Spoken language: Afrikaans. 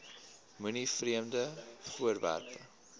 moenie vreemde voorwerpe